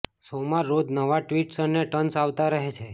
શોમાં રોજ નવા ટ્વિસ્ટ અને ટર્ન્સ આવતા રહે છે